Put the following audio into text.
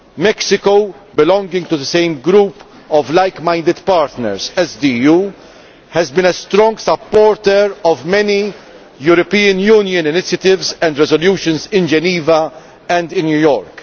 Mexico, belonging to the same group of like minded partners as the EU, has been a strong supporter of many EU initiatives and resolutions in Geneva and in New York.